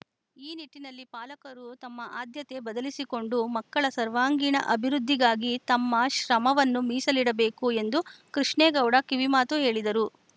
ಈ ನಿಟ್ಟಿನಲ್ಲಿ ಪಾಲಕರು ತಮ್ಮ ಆದ್ಯತೆ ಬದಲಿಸಿಕೊಂಡು ಮಕ್ಕಳ ಸರ್ವಾಂಗೀಣ ಅಭಿವೃದ್ಧಿಗಾಗಿ ತಮ್ಮ ಶ್ರಮವನ್ನು ಮೀಸಲಿಡಬೇಕು ಎಂದು ಕೃಷ್ಣೇಗೌಡ ಕಿವಿಮಾತು ಹೇಳಿದರು